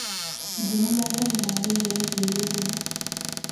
njĩĩra mohoro ma riu meegĩe gĩthumo